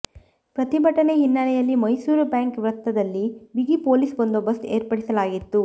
ಪ್ರತಿಭಟನೆ ಹಿನ್ನೆಲೆಯಲ್ಲಿ ಮೈಸೂರು ಬ್ಯಾಂಕ್ ವೃತ್ತದಲ್ಲಿ ಬಿಗಿ ಪೊಲೀಸ್ ಬಂದೋಬಸ್ತ್ ಏರ್ಪಡಿಸಲಾಗಿತ್ತು